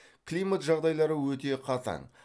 климат жағдайлары өте қатаң